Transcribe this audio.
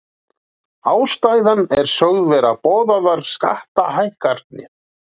Ástæðan er sögð vera boðaðar skattahækkanir